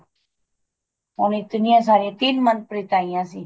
ਹੋਣੀ ਇਤਨੀਆਂ ਸਾਰੀਆਂ ਤਿੰਨ ਮਨਪ੍ਰੀਤ ਆਈਆਂ ਸੀ